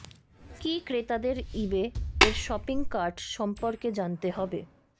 কি ক্রেতাদের ইবে এর শপিং কার্ট সম্পর্কে জানতে হবে